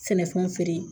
Sɛnɛfɛnw feere